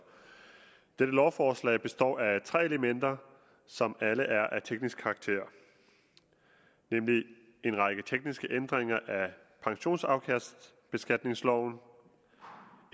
dette lovforslag består af tre elementer som alle er af teknisk karakter nemlig en række tekniske ændringer af pensionsafkastbeskatningsloven